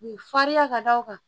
Farinya ka da o kan